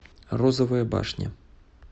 розовая башня